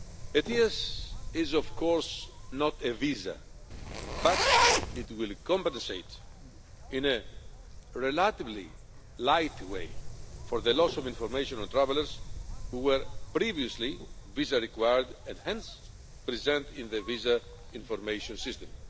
ETIAS is, of course, not a visa, but it will compensate in a relatively light way for the loss of information on travellers who were previously visa required and hence present in the Visa Information System